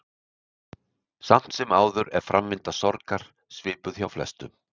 Samt sem áður er framvinda sorgar svipuð hjá flestum.